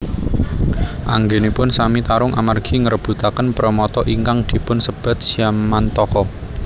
Anggenipun sami tarung amargi ngrebutaken premata ingkang dipun sebat Syamantaka